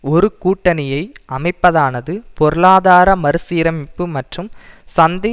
ஒரு கூட்டணியை அமைப்பதானது பொருளாதார மறுசீரமைப்பு மற்றும் சந்தை